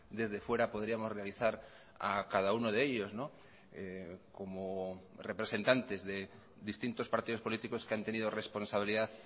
desde fuera podríamos realizar a cada uno de ellos como representantes de distintos partidos políticos que han tenido responsabilidad